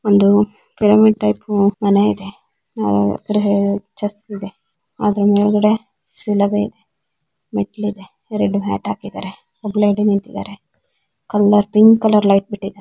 ಒಂದು pyramid type ಮನೆ ಇದೆ ಆಹ್ ಗ್ರಹ ವರ್ಚಸ್ಸು ಇದೆ ಅದ್ರ ಮೇಲ್ಗಡೆ ಶಿಲುಬೆ ಇದೆ ಮೇಟ್ಲಿದೆ ಎರಡು ಮ್ಯಾಟ್ ಹಾಕಿದ್ದಾರೆ. ಒಬ್ರ್ ಲೇಡಿ ನಿಂತಿದ್ದಾರೆ ಕಲರ್ ಪಿಂಕ್ ಕಲರ್ ಲೈಟ್ ಬಿಟ್ಟಿದ್ದಾರೆ.